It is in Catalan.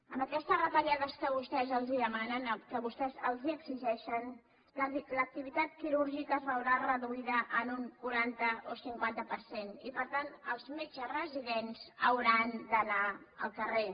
amb aquestes retallades que vostès els demanen que vostès els exigeixen l’activitat quirúrgica es veurà reduïda en un quaranta o cinquanta per cent i per tant els metges residents hauran d’anar al carrer